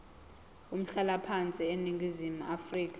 umhlalaphansi eningizimu afrika